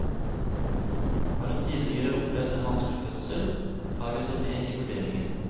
Har hun tidligere opplevd en vanskelig fødsel, tar vi det med i vurderingen.